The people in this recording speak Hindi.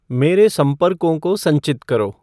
मेरे संपर्कों को संचित करो